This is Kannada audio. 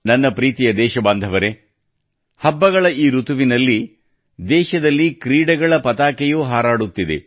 ನನ್ನ ಪ್ರೀತಿಯ ದೇಶಬಾಂಧವರೇ ಹಬ್ಬಗಳ ಈ ಋತುವಿನಲ್ಲಿ ದೇಶದಲ್ಲಿ ಕ್ರೀಡೆಗಳ ಪತಾಕೆಯೂ ಹಾರಾಡುತ್ತಿದೆ